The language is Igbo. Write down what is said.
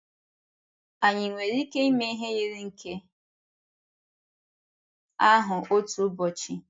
Ànyị nwere ike ịme ihe yiri nke ahụ otu ụbọchị?